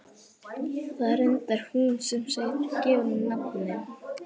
Það var reyndar hún sem gaf honum nafnið.